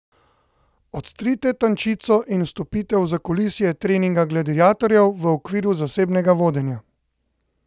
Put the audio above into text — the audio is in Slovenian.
Odstrite tančico in vstopite v zakulisje treninga gladiatorjev v okviru zasebnega vodenja.